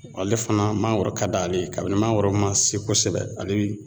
Ale fana mangoro ka d'ale ye kabini mangoro ma se kosɛbɛ ale bi